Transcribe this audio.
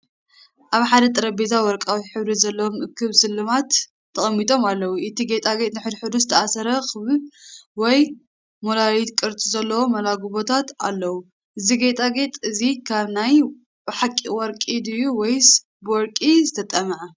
ኣብ ሓደ ጠረጴዛ ወርቃዊ ሕብሪ ዘለዎም እኩብ ስልማት ተቐሚጦም ኣለዉ። እቲ ጌጣጌጥ ንሓድሕዱ ዝተኣሳሰረ ክቡብ ወይ ሞላሊት ቅርጺ ዘለዎ መላግቦታት ኣለዎ። እዚ ጌጣጌጥ እዚ ካብ ናይ ብሓቂ ወርቂ ድዩ ወይስ ብወርቂ ዝተጠምዐ?